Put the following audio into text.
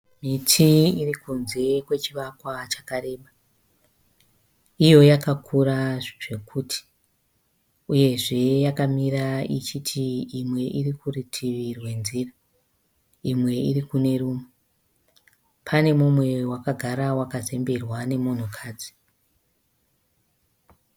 Miti iri kunze kwechivakwa chakareba. Iyo yakakura zvekuti uyezve yakamira ichiti imwe iri kuritivi rwenzira imwe iri kune rimwe. Pane umwe wakagara wakazemberwa nemunhukadzi.